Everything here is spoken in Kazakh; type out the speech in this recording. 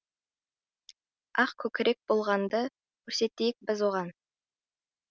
ақ көкірек болғанды көрсетейік біз оған